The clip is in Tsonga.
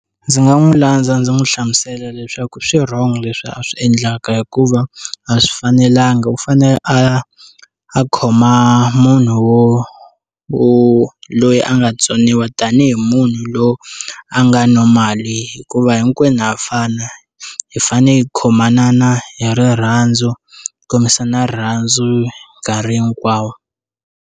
Ndzi nga n'wi landza ndzi n'wi hlamusela leswaku swirhongo leswi a swi endlaka hikuva a swi fanelanga u fanele a a khoma munhu wo wo loyi a nga tsoniwa tanihi munhu loyi a nga no mali hikuva hinkwenu hafana hi fanele hi khomanana hi rirhandzu kombisana rirhandzu nkarhi hinkwawo.